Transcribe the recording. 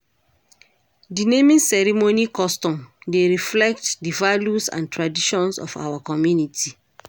Di naming custom dey reflect di values and traditions of our community.